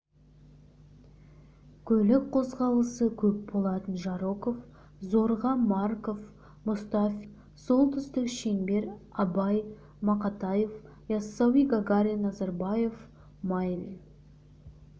көлік қозғалысы көп болатын жароков зорге марков мұстафин солтүстік шеңбер абай мақатаев яссауи гагарин назарбаев майлин